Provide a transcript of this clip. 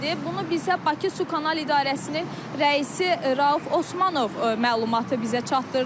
Bunu da bizə Bakı Su Kanal İdarəsinin rəisi Rauf Osmanov məlumatı bizə çatdırdı.